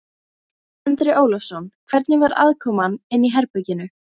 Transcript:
Andri Ólafsson: Hvernig var aðkoman inni í herberginu?